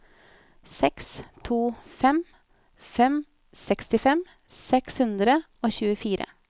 seks to fem fem sekstifem seks hundre og tjuefire